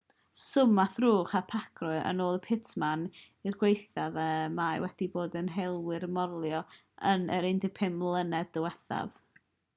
swm a thrwch y pacrew yn ôl pitmann yw'r gwaethaf y mae wedi bod i helwyr morloi yn y 15 mlynedd diwethaf